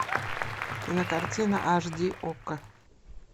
кинокартина аш ди окко